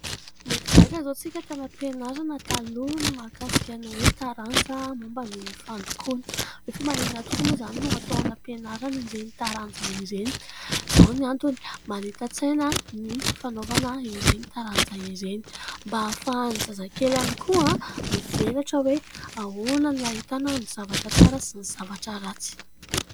Mety gaga izao isika tany am-pianarana taloha ny mahakasika ny hoe taranja momba ny fandokoana. Hoe fa maninona tokoa moa izany no atao any am-pianarana ireny taranja ireny ? Izao no antony : manita-tsaina ny fanaovana ireny taranja ireny. Mba ahafahan'ny zazakely ihany koa mivelatra hoe ahoana no ahitana ny zavatra tsara sy ny zavatra ratsy.